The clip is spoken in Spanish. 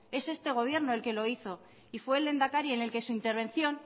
es este gobierno el que lo hizo y fue el lehendakari en el que en su intervención